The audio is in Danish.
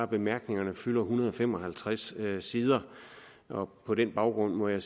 bemærkningerne fylder en hundrede og fem og halvtreds sider på på den baggrund må jeg